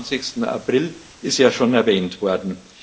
27. April ist ja schon erwähnt worden.